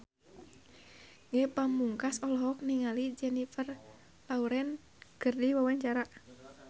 Ge Pamungkas olohok ningali Jennifer Lawrence keur diwawancara